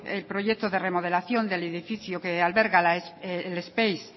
el proyecto de remodelación del edificio que alberga el speis